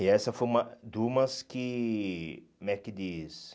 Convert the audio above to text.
E essa foi uma de umas que... Como é que diz?